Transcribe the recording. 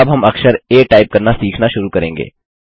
अब हम अक्षर आ टाइप करना सीखना शुरू करेंगे